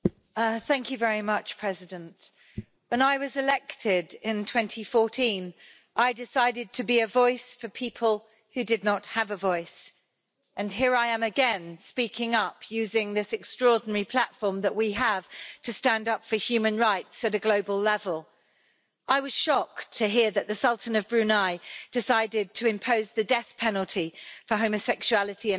Mr President, when I was elected in 2014, I decided to be a voice for people who did not have a voice and here I am again speaking up, using this extraordinary platform that we have to stand up for human rights at a global level. I was shocked to hear that the Sultan of Brunei decided to impose the death penalty for homosexuality and adultery.